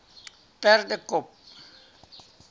perdekop